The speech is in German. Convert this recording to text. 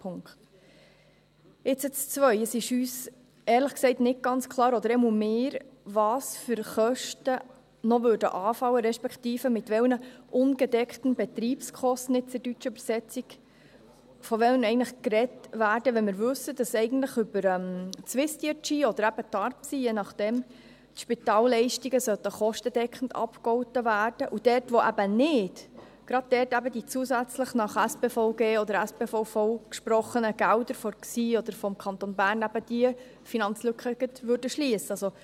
Zu Punkt 2: Es ist uns – oder jedenfalls mir – ehrlich gesagt nicht ganz klar, welche Kosten noch anfallen würden, respektive von welchen «ungedeckten Betriebskosten» – in der deutschen Übersetzung – eigentlich gesprochen wird, wenn wir wissen, dass die Spitalleistungen eigentlich über SwissDRG oder je nachdem eben TARPSY kostendeckend abgegolten werden sollen, und gerade dort, wo dies eben nicht der Fall ist, die zusätzlich nach Spitalversorgungsgesetz (SpVG) oder Spitalversorgungsverordnung (SpVV) gesprochenen Gelder von der GSI oder vom Kanton Bern eben diese Finanzlücke gerade schliessen würden.